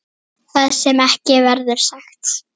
Það sem ekki verður sagt